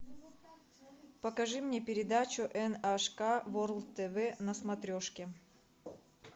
покажи мне передачу эн аш ка ворлд тв на смотрешке